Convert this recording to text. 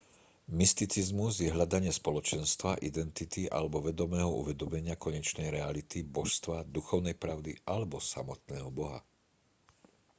mysticizmus je hľadanie spoločenstva identity alebo vedomého uvedomenia konečnej reality božstva duchovnej pravdy alebo samotného boha